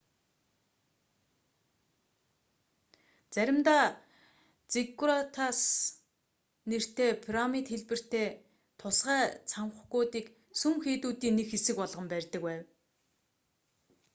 заримдаа зиггуратс нэртэй пирамид хэлбэртэй тусгай цамхгуудыг сүм хийдүүдийн нэг хэсэг болгон барьдаг байв